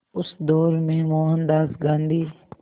उस दौर में मोहनदास गांधी